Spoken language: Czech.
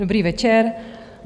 Dobrý večer.